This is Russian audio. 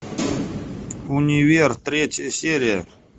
универ третья серия